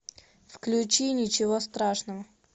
включи ничего страшного